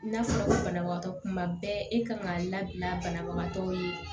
N'a fɔra banabagatɔ kuma bɛɛ e kan ka labila banabagatɔw ye